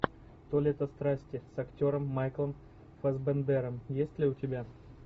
то лето страсти с актером майклом фассбендером есть ли у тебя